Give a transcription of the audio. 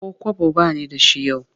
Ko kwabo ba ni da shi yau